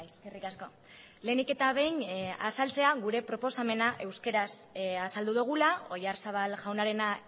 eskerrik asko lehenik eta behin azaltzea gure proposamena euskaraz azaldu dugula oyarzabal jaunarena